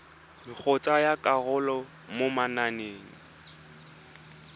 go tsaya karolo mo mananeng